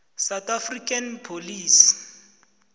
south african police